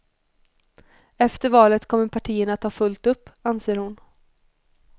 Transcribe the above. Efter valet kommer partierna att ha fullt upp, anser hon.